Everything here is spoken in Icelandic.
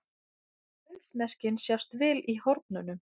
pundsmerkin sjást vel í hornunum